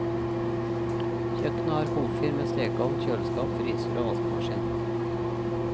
Kjøkkenet har komfyr med stekeovn, kjøleskap, fryser og vaskemaskin.